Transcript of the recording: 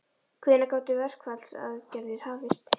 Hvenær gætu verkfallsaðgerðir hafist?